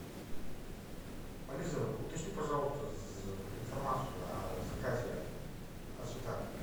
алиса уточни пожалуйста информацию о заказе о цветах